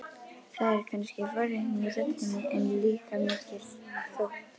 Það er kannski forvitni í röddinni, en líka mikill þótti.